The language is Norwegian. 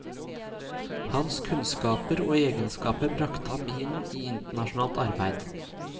Hans kunnskaper og egenskaper bragte ham inn i internasjonalt arbeid.